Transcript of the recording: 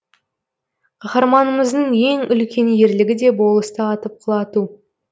қаһарманымыздың ең үлкен ерлігі де болысты атып құлату